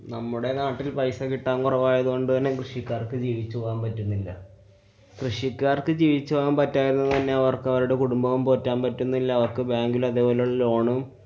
നമ്മുടെ നാട്ടില്‍ പൈസ കിട്ടാന്‍ കുറവായതുകൊണ്ടുതന്നെ കൃഷിക്കാര്‍ക്ക് ജീവിച്ചുപോവാന്‍ പറ്റുന്നില്ല. കൃഷിക്കാര്‍ക്ക് ജീവിച്ചുപോകാന്‍ പറ്റാത്തതുകൊണ്ട് തന്നെ അവര്‍ക്ക് അവരുടെ കുടുംബവും പൊട്ടന്‍ പറ്റുന്നില്ല. അവര്‍ക്ക് bank ലതെപോലെ loan ഉം